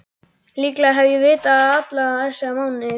Líklega hef ég vitað það alla þessa mánuði.